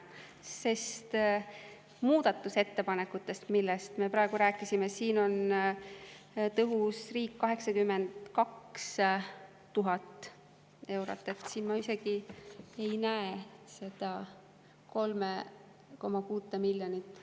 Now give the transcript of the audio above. Sest muudatusettepanekutes, millest me praegu rääkisime, on "Tõhusa riigi" all 82 000 eurot, siin ma isegi ei näe seda 3,6 miljonit.